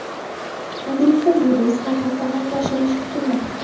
Endilikda bu reys har hafta amalga oshirilishi kutilmoqda.